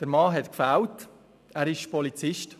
Der Mann fehlte – er ist Polizist.